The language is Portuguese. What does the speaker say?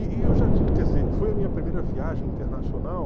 quer dizer, foi a minha primeira viagem internacional.